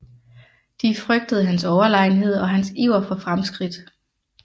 De frygtede hans overlegenhed og hans iver for fremskridt